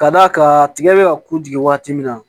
Ka d'a kan tigɛ bɛ ka ku jigi waati min na